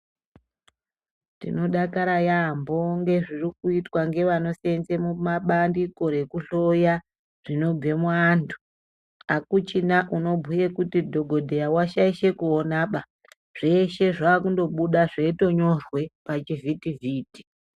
Tinodakara yambo ngezviri kuitwa ngevanosenze mumabandiko rekuhloya zvinobve muandu , akuchina unobhuye kuti dhokodheya washaishe kuona baa zveshe zvakundobuda zveinyorwe pachivhiti vhiti.